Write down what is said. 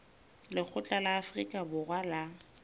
lekgotla la afrika borwa la